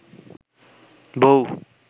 বৌ